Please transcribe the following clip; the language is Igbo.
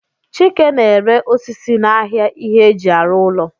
Chike na-ere osisi n'ahịa ihe eji arụ ụlọ